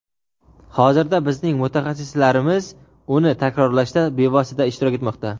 Hozirda bizning mutaxassislarimiz uni tayyorlashda bevosita ishtirok etmoqda.